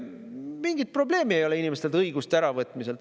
Mingit probleemi ei ole inimestelt õiguste äravõtmisel.